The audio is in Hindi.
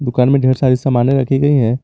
दुकान में ढेर सारे सामाने रखी गई हैं।